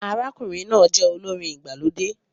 Arákùnrin náà jẹ olórin igbalode